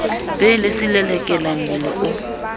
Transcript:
be le selelekela mmele o